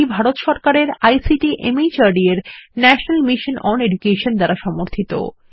এটি ভারত সরকারের ICT MHRD এর ন্যাশনাল মিশন ওন এডুকেশন দ্বারা সমর্থিত